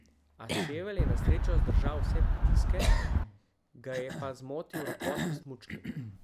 A čevelj je na srečo zdržal vse pritiske, ga je pa zmotil ropot v smučki.